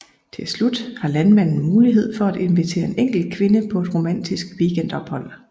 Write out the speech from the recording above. Til slut har landmanden mulighed for at invitere en enkelt kvinde på et romantisk weekendophold